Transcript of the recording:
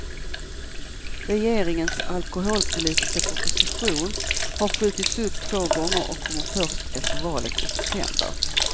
Regeringens alkoholpolitiska proposition har skjutits upp två gånger och kommer först efter valet i september.